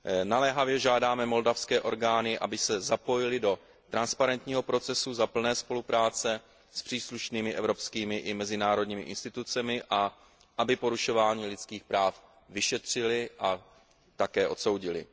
Naléhavě žádáme moldavské orgány, aby se zapojily do transparentního procesu za plné spolupráce s příslušnými evropskými i mezinárodními institucemi a aby porušování lidských práv vyšetřily a také odsoudily.